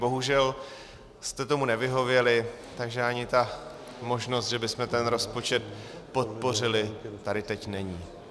Bohužel jste tomu nevyhověli, takže ani ta možnost, že bychom ten rozpočet podpořili, tady teď není.